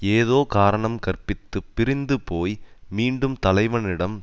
ஏதோ காரணம் கற்பித்துப் பிரிந்து போய் மீண்டும் தலைவனிடம்